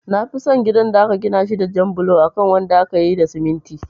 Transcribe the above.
Nafi son gidan da aka gina shi da jan bulo akan wanda akayi da siminti